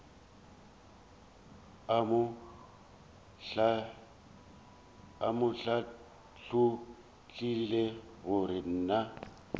a mo hlathollela gore na